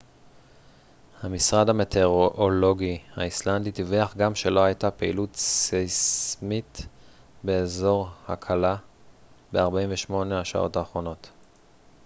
המשרד המטאורולוגי האיסלנדי דיווח גם שלא הייתה פעילות סייסמית באזור הקלה ב-48 השעות האחרונות